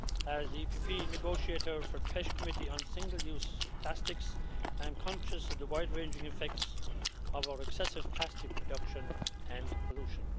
As the EPP negotiator for the Committee on Fisheries on single-use plastics, I am conscious of the wide ranging effects of our excessive plastic production and pollution.